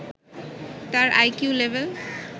তার IQ level